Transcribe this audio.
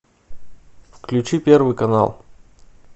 включи первый канал